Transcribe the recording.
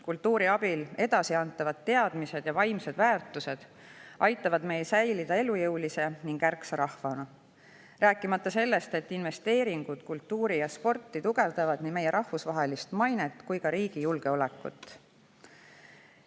Kultuuri abil edasiantavad teadmised ja vaimsed väärtused aitavad meil säilida elujõulise ning ärksa rahvana, rääkimata sellest, et investeeringud kultuuri ja sporti tugevdavad nii meie rahvusvahelist mainet kui ka riigi julgeolekut.